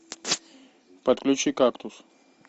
подключи кактус